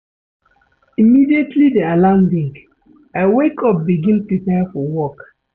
Immediately di alarm ring, I wake up begin prepare for work.